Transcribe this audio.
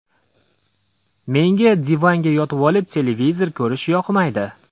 Menga divanga yotvolib, televizor ko‘rish yoqmaydi”.